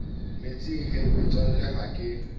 metsing he motswalle ha ke